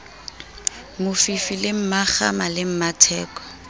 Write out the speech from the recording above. mofifi le mmakgama le mmatheko